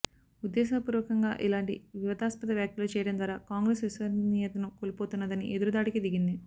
ఉద్దేశపూర్వకంగా ఇలాంటి వివాదాస్పద వ్యాఖ్యలు చేయడం ద్వారా కాంగ్రెస్ విశ్వసనీయతను కోల్పోతున్నదని ఎదురుదాడికి దిగింది